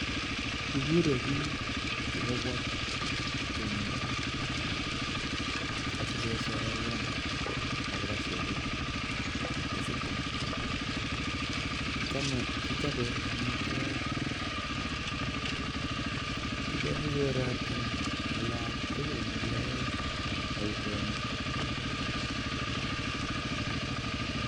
Ikure bik sikobwa tumdo asikoboiboji akechopei amitwogik eng olatugul olekiyae boishonitok